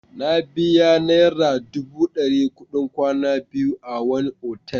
Na biya naira dubu ɗari kuɗin kwana biyu a wani otal.